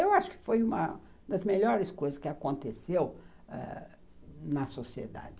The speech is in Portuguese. Eu acho que foi uma das melhores coisas que aconteceu ãh na sociedade.